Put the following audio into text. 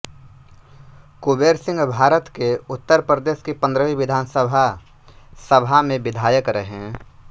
कुबेर सिंहभारत के उत्तर प्रदेश की पंद्रहवी विधानसभा सभा में विधायक रहे